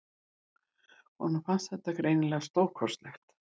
Honum fannst þetta greinilega stórkostlegt.